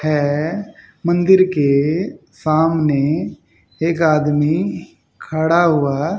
है मंदिर के सामने एक आदमी खड़ा हुआ--